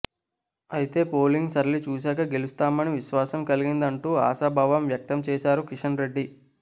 అయితే పోలింగ్ సరళి చూశాక గెలుస్తామని విశ్వాసం కలిగింది అంటూ ఆశాభావం వ్యక్తం చేశారు కిషన్ రెడ్డి